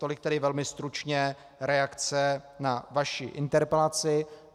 Tolik tedy velmi stručně reakce na vaši interpelaci.